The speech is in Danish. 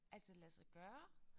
Altså lade sig gøre?